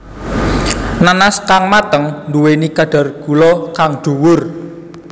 Nanas kang mateng nduwéni kadar gula kang dhuwur